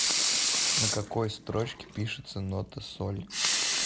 на какой строчке пишется нота соль